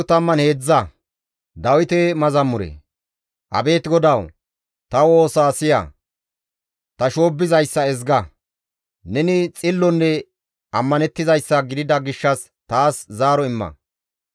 Abeet GODAWU! Ta woosa siya; ta shoobbizayssa ezga; neni xillonne ammanettizayssa gidida gishshas taas zaaro imma.